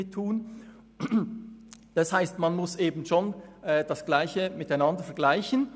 Das heisst, man muss Gleiches mit Gleichem vergleichen.